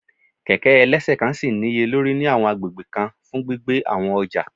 Kẹ̀kẹ́ ẹlẹ́ṣẹ̀kan ṣì níye lórí ní àwọn agbègbè kan fún gbígbé àwọn ọjà